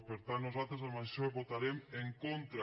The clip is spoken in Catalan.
per tant nosaltres a això hi votarem en contra